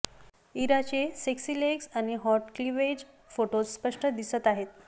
इराचे sexy legs आणि hot cleavage फोटोत स्पष्ट दिसत आहे